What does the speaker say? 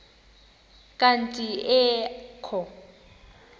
kanti ee kho